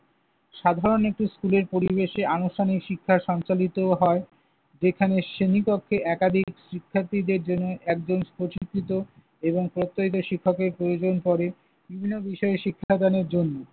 সাধারণ একটি স্কুলের পরিবেশে আনুষ্ঠানিক শিক্ষার সঞ্চালিত হয়। এখানে শ্রেণীকক্ষে একাধিক শিক্ষার্থীদের জন্য একজন প্রশিক্ষিত এবং প্রত্যয়িত শিক্ষকের প্রয়োজন পড়ে বিভিন্ন বিষয় শিক্ষা দানের জন্য।